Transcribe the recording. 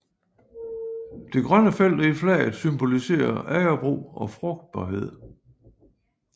De grønne felter i flaget symboliserer agerbrug og frugtbarhed